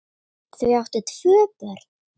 Þau áttu tvö börn